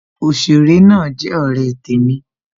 Òsèré náà jẹ ọ̀rẹ́ temi